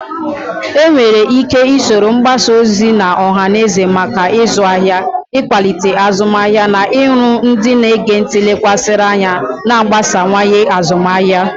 Enwere ike iji usoro mgbasa ozi ọha na eze maka ịzụ ahịa, ịkwalite azụmahịa, na iru ndị na-ege ntị lekwasịrị anya, na-agbasawanye azụmahịa.